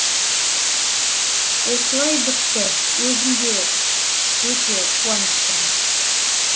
осылай бітті өзім де өте қуаныштымын